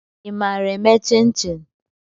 ị maara eme chin-chin?